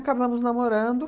Acabamos namorando.